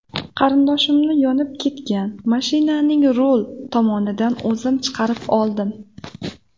Qarindoshimni yonib ketgan mashinaning rul tomonidan o‘zim chiqarib oldim.